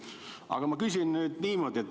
Aga ma küsin nüüd niimoodi.